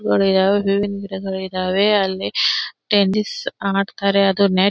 ಇದಾವೆ ಹೂವಿನ ಗಿಡಗಳು ಇದಾವೆ ಅಲ್ಲಿ ಟೆನಿಸ್ ಆಡತ್ತಾರೆ ಅದು.--